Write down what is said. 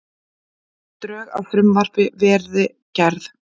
Drög að frumvarpi verið gerð